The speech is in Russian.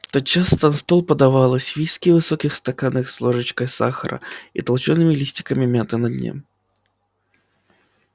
тотчас на стол подавалось виски в высоких стаканах с ложечкой сахара и толчёными листиками мяты на дне